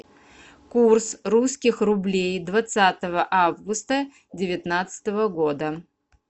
курс русских рублей двадцатого августа девятнадцатого года